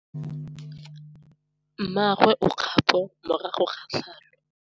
Mmagwe o kgapô morago ga tlhalô.